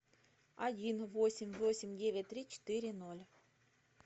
один восемь восемь девять три четыре ноль